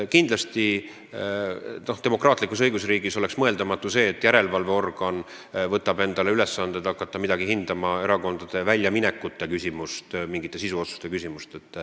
Kindlasti oleks demokraatlikus õigusriigis mõeldamatu, et järelevalveorgan võtab endale ülesandeks hakata hindama erakondade väljaminekuid või mingeid sisuotsuseid.